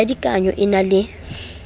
ya dikanao e na le